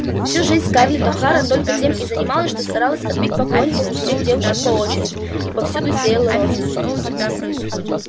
всю жизнь скарлетт охара только тем и занималась что старалась отбить поклонников у всех девушек по очереди и повсюду сеяла рознь